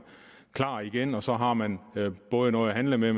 klar igen og så har man både noget at handle med